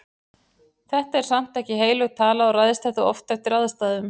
Þetta er samt ekki heilög tala og ræðst þetta oft eftir aðstæðum.